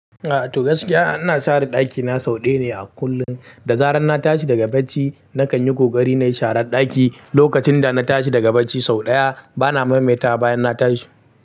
Ah toh gaskiya ina share ɗakina sau ɗaya ne a kullum. Da zarar na tashi daga bacci nakan yi ƙoƙari na yi share ɗaki. Lokacin da na tashi daga bacci sau ɗaya bana maimaita bayan na tashi.